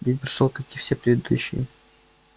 день прошёл как и все предыдущие